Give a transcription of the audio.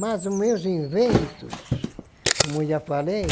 Mas os meus inventos, como eu já falei,